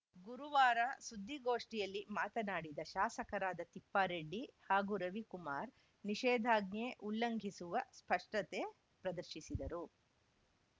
ಗುರುವಾರ ಸುದ್ದಿಗೋಷ್ಠಿಯಲ್ಲಿ ಮಾತನಾಡಿದ ಶಾಸಕರಾದ ತಿಪ್ಪಾರೆಡ್ಡಿ ಹಾಗೂ ರವಿಕುಮಾರ್‌ ನಿಷೇಧಾಜ್ಞೆ ಉಲ್ಲಂಘಿಸುವ ಸ್ಪಷ್ಟತೆ ಪ್ರದರ್ಶಿಸಿದರು